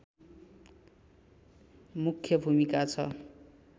मुख्य भूमिका छ